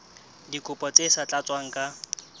dikopo tse sa tlatswang ka